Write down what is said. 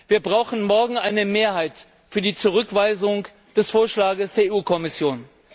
Wir brauchen morgen eine Mehrheit für die Zurückweisung des Vorschlags der Kommission.